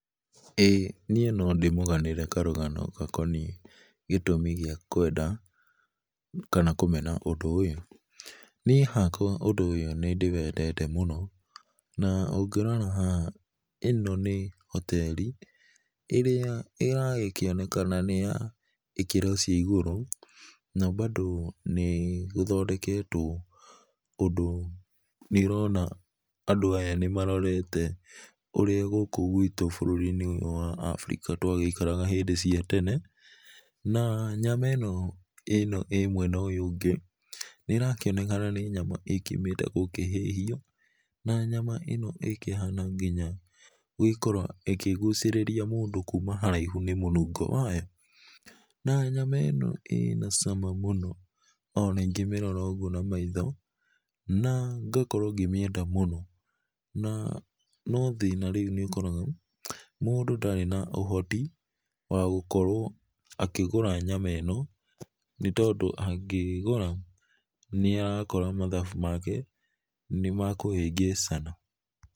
Ĩĩ niĩ no ndĩmũganĩre karũgano gakoniĩ gĩtũmĩ gĩa kwenda kana kũmena ũndũ ũyũ nĩe hakwa ũndũ ũyũ nĩ ndĩwendete mũno na ũgĩrora haha, ĩno nĩ hoterĩ ĩrĩa ĩrakĩonekana nĩ ya ĩkĩro cia igũrũ na bado nĩ gũthondeketwo ũndũ nĩũrona andũ aya nĩmarorete ũrĩa gũkũ gwĩtũ bũrũri inĩ wa Africa ũrĩa twaikaraga hĩndĩ cia tene, na nyama ino ĩno ĩ mwena ũyũ ũngĩ nĩrakĩonekana nĩ nyama ĩkĩũmĩte gũkĩhĩhio na nyama ĩno ĩkĩhana ngĩnya gũgĩkorwo ĩkĩgũcirĩrĩa mũndũ kũma haraĩhũ nĩ ũndũ wa mũnũgo wayo, na nyama ĩno ĩna cama mũno ona ĩngĩmĩrora ũgũo na maitho na ngakorwo ngĩmĩenda mũno no thĩna rĩũ nĩ ũkoraga mũndũ darĩ na ũhotĩ wa gũkorwo akĩgũra nyama ĩno nĩ tondũ agĩgũra nĩarakora mathabũ make nĩ makũhĩngĩcana.